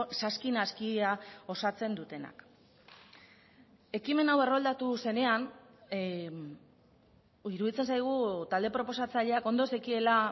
saski naskia osatzen dutenak ekimen hau erroldatu zenean iruditzen zaigu talde proposatzaileak ondo zekiela